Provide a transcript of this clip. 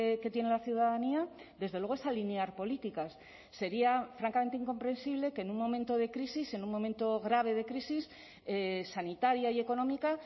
que tiene la ciudadanía desde luego es alinear políticas sería francamente incomprensible que en un momento de crisis en un momento grave de crisis sanitaria y económica